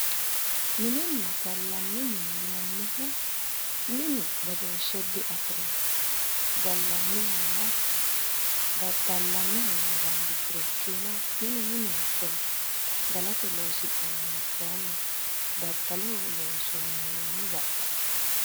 Mininna gallanni mine yinannihu minu badooshshe diafirino. Gallannihanna daddallanniha yine bandisuro ikkiina minu minenkolla. Galate loosi'nannihu kayinni daddaloho loonsoonnihuwiinni baxxawo.